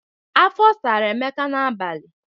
Afọ sara Emeka n'abalị.